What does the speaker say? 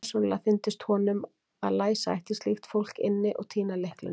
Persónulega fyndist honum að læsa ætti slíkt fólk inni og týna lyklinum.